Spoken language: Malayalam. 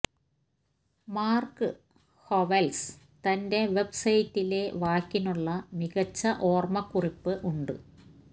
മാർക്ക് ഹൊവെൽസ് തന്റെ വെബ് സൈറ്റിലെ വാക്കിനുള്ള മികച്ച ഓർമ്മക്കുറിപ്പ് ഉണ്ട്